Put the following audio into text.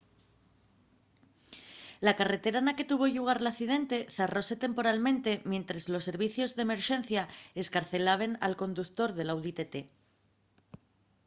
la carretera na que tuvo llugar l’accidente zarróse temporalmente mientres los servicios d’emerxencia escarcelaben al conductor del audi tt